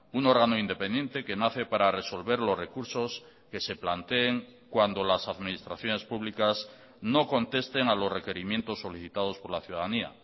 un órgano independiente que nace para resolver los recursos que se planteen cuando las administraciones públicas no contesten a los requerimientos solicitados por la ciudadanía